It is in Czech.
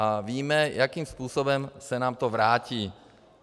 A víme, jakým způsobem se nám to vrátí.